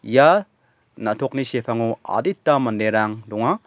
ia na·tokni sepango adita manderang donga.